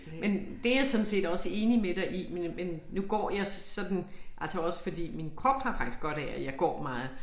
Men det jeg sådan set også enig med dig i men men nu går jeg sådan altså også fordi min krop har faktisk godt af at jeg går meget